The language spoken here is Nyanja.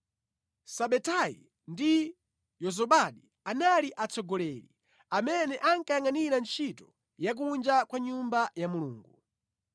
Sabetayi ndi Yozabadi anali atsogoleri amene ankayangʼanira ntchito ya kunja kwa Nyumba ya Mulungu.